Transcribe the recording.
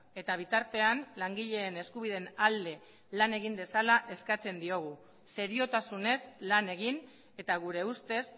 eta bitartean langileen eskubideen alde lan egin dezala eskatzen diogu seriotasunez lan egin eta gure ustez